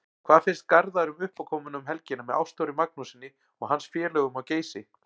Hvað finnst Garðari um uppákomuna um helgina með Ástþóri Magnússyni og hans félögum á Geysi?